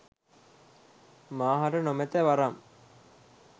මා හට නොමැත වරම්